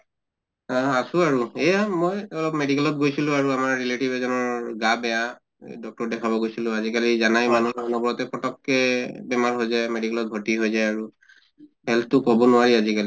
আহ আছো আৰু এয়া মই অহ medical ত গৈছিলো আৰু আমাৰ relative এজনৰ গা বেয়া এ doctor ক দেখাব গৈছিলো। আজি কালি জানাই মানিহ অনবৰতে পতককে বেমাৰ হৈ যায়, medical ত ভৰ্তি হৈ যায় আৰু। health তো কʼব নোৱাৰি আজি